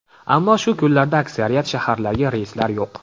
Ammo shu kunlarda aksariyat shaharlarga reyslar yo‘q.